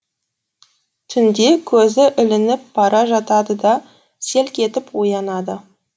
түнде көзі ілініп бара жатады да селк етіп оянады